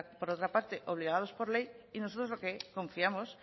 por otra parte obligados por ley y nosotros confiamos